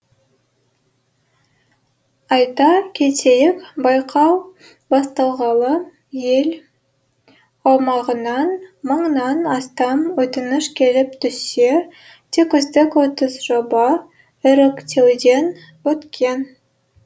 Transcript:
айта кетейік байқау басталғалы ел аумағынан мыңнан астам өтініш келіп түссе тек үздік отыз жоба іріктеуден өткен